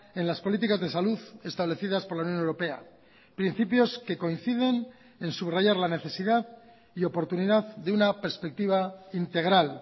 en las políticas de salud establecidas por la unión europea principios que coinciden en subrayar la necesidad y oportunidad de una perspectiva integral